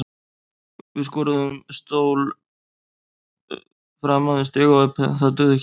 Við skorðuðum stól framan við stigaopið en það dugði ekki neitt.